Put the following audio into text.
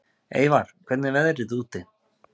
Eyvar, hvernig er veðrið úti?